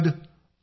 धन्यवाद